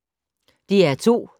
DR2